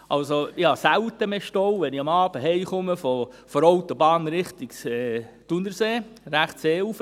Ich habe selten noch Stau, wenn ich am Abend nach Hause komme, von der Autobahn in Richtung Thunersee, rechtes Seeufer.